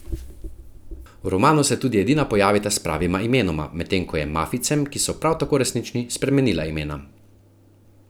V romanu se tudi edina pojavita s pravima imenoma, medtem ko je mafijcem, ki so prav tako resnični, spremenila imena.